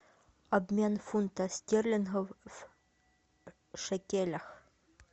обмен фунта стерлингов в шекелях